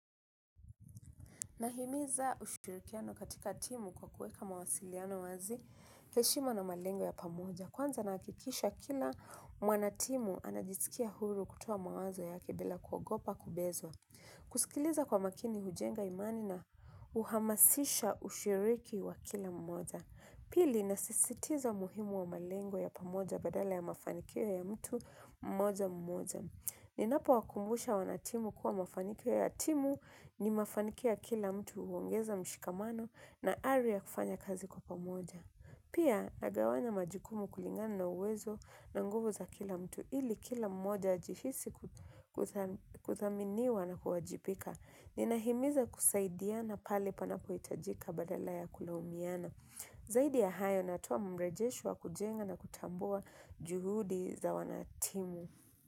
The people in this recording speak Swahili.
Nahimiza ushirikiano katika timu kwa kueka mawasiliano wazi heshima na malengo ya pamoja. Kwanza naakikisha kila mwanatimu anajisikia huru kutoa mawazo yake bila kuogopa kubezwa. Kusikiliza kwa makini hujenga imani na uhamasisha ushiriki wa kila mmoja. Pili nasisitiza muhimu wa malengo ya pamoja badala ya mafanikio ya mtu mmoja mmoja. Ni napo wakumbusha wanatimu kuwa mafanikio ya atimu ni mafanikio ya kila mtu huongeza mshikamano na ari ya kufanya kazi kwa pamoja. Pia, nagawanya majukumu kulingana na uwezo na nguvu za kila mtu ili kila mmoja ajihisi kuthaminiwa na kuwajipika. Ni nahimiza kusaidiana pale panapo itajika badala ya kulaumiana. Zaidi ya hayo natuoa mrejesho wa kujenga na kutambua juhudi za wanatimu.